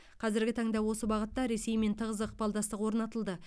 қазіргі таңда осы бағытта ресеймен тығыз ықпалдастық орнатылды